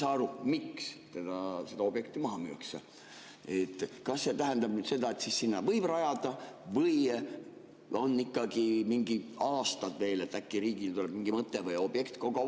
Ma küll ei saa aru, miks see objekt maha müüakse, aga kas see tähendab seda, et sinna võib rajada, või on ikkagi mingid aastad veel, et äkki riigil tuleb mingi mõte või objekt?